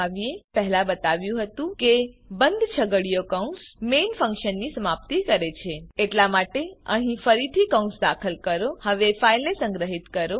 જેવું કે મેં પહેલા બતાવ્યું હતું કે બંધ છગડીયો કૌંસ મેઇન ફંક્શનની સમાપ્તિ માર્ક કરે છે એટલા માટે અહીં ફરીથી કૌંસ દાખલ કરો હવે ફાઈલને સંગ્રહિત કરો